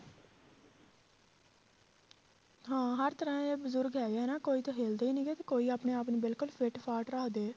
ਹਾਂ ਹਰ ਤਰ੍ਹਾਂ ਦੇ ਬਜ਼ੁਰਗ ਹੈਗੇ ਆ ਨਾ ਕੋਈ ਤਾਂ ਹਿੱਲਦੇ ਹੀ ਨੀਗੇ ਤੇ ਕੋਈ ਆਪਣੇ ਆਪ ਨੂੰ ਬਿਲਕੁਲ fit ਫਾਟ ਰੱਖਦੇ ਆ